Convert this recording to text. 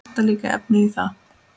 Vantar líka efnið í það.